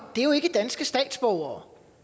er jo ikke danske statsborgere